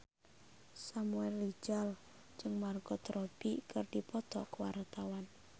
Samuel Rizal jeung Margot Robbie keur dipoto ku wartawan